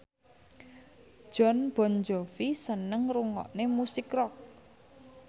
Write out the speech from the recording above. Jon Bon Jovi seneng ngrungokne musik rock